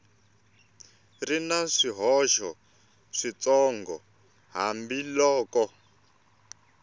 ri na swihoxo switsongo hambiloko